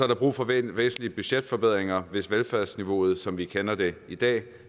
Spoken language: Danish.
der brug for væsentlige budgetforbedringer hvis velfærdsniveauet som vi kender det i dag